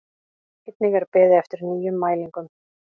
Einnig er beðið eftir nýjum mælingum